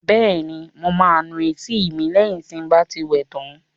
Bẹ́ẹ̀ni, mo máa nu etí mi lẹ́yìn tí n bá ti wẹ tán